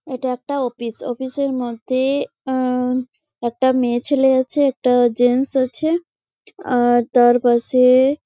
এইটা একটা office. Office -এর মধ্যে-এ- আ- একটা মেয়ে ছেলে আছে একটা জেন্টস আছে আর তার পাশে--